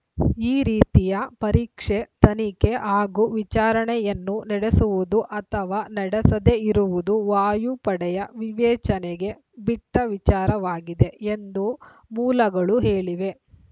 ಈ ರೀತಿಯ ಪರೀಕ್ಷೆ ತನಿಖೆ ಹಾಗೂ ವಿಚಾರಣೆಯನ್ನು ನಡೆಸುವುದು ಅಥವಾ ನಡೆಸದೆ ಇರುವುದು ವಾಯುಪಡೆಯ ವಿವೇಚನೆಗೆ ಬಿಟ್ಟವಿಚಾರವಾಗಿದೆ ಎಂದು ಮೂಲಗಳು ಹೇಳಿವೆ